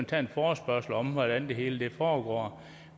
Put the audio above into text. tage en forespørgsel om hvordan det hele foregår